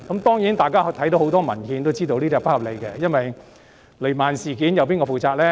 當然，大家從很多文獻看到，這並不合理，正如雷曼事件，誰要負責呢？